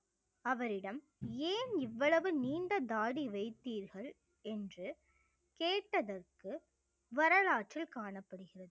அவரிடம் ஏன் இவ்வளவு நீண்ட தாடி வைத்தீர்கள் என்று கேட்டதற்கு வரலாற்றில் காணப்படுகிறது